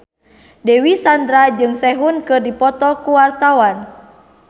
Dewi Sandra jeung Sehun keur dipoto ku wartawan